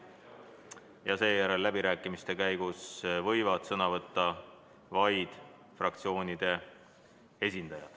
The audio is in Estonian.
Ja seejärel võivad läbirääkimiste käigus sõna võtta fraktsioonide esindajad.